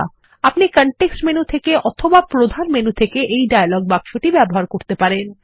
আপনি context menu থেকে অথবা প্রধান মেনু থেকে এই ডায়লগ বাক্সটি ব্যবহার করতে পারেন